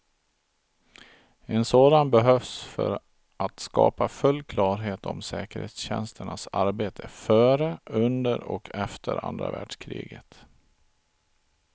En sådan behövs för att skapa full klarhet om säkerhetstjänsternas arbete före, under och efter andra världskriget.